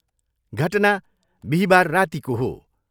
घटना बिहिबार रातिको हो।